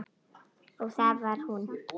Og það var hún.